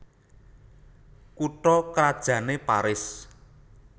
Kutha krajanné Paris